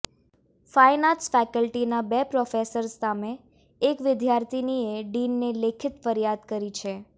fine arts ફેકલ્ટીના બે professors સામે એક વિદ્યાર્થીનીએ ડીનને લેખિત ફરિયાદ કરી છે